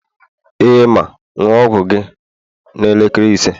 ee, ma, ṅụọ ọgwụ gị n'elekere ise